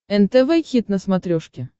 нтв хит на смотрешке